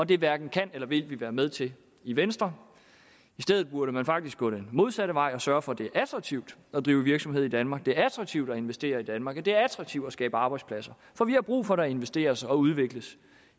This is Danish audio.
det hverken kan eller vil vi være med til i venstre i stedet burde man faktisk gå den modsatte vej og sørge for at det er attraktivt at drive virksomhed i danmark at det er attraktivt at investere i danmark at det er attraktivt at skabe arbejdspladser for vi har brug for at der investeres og udvikles